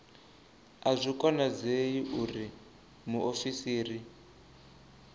a zwi konadzei uri muofisiri